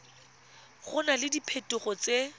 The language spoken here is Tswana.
go na le diphetogo tse